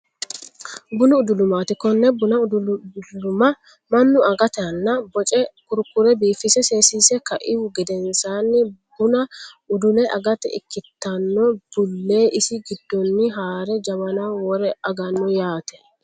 Bunu udulumaati. Konne bunu uduluma mannu angatenni boce kurkure biifise seesise kaihu gedensaanni buna udu'le agate ikkitanno bullee isi giddonni haare jawanaho wore aganno yaate.